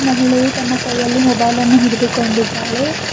ಮಹಿಳೆಯು ತನ್ನ ಕೈಯಲ್ಲಿ ಮೊಬೈಲನ್ನು ಹಿಡಿದುಕೊಂಡಿದ್ದಾಳೆ.